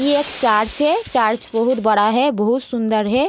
ये एक चार्च है। चार्च बहुत बड़ा है। बहुत सुंदर है।